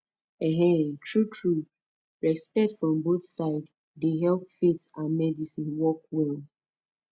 um true true respect from both side dey help faith and medicine work well